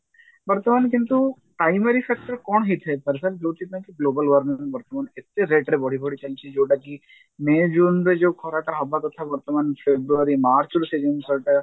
ବର୍ତମାନ କିନ୍ତୁ primary sector କଣ ହେଇଥାଇପାରେ sir ଯଉଥି ପାଇଁ ସିଏ global warming ବର୍ତମାନ ଏତେ rate ରେ ବଢି ବଢି ଚାଲିଛି ଯାଇଛି ଯଉଟାକି may june ରେ ଯଉ ଖରାଟା ହବା କଥା ବର୍ତମାନ february march ରୁ ସେ ଜିନିଷ ଟା